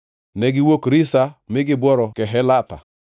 Negiwuok Risa mi gibworo Kehelatha.